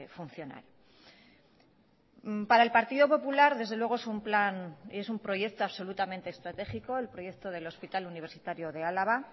funcional para el partido popular desde luego es un plan y es un proyecto absolutamente estratégico el proyecto del hospital universitario de álava